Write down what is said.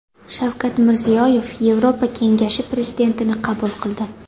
Shavkat Mirziyoyev Yevropa kengashi prezidentini qabul qildi.